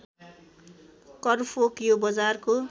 करफोक यो बजारको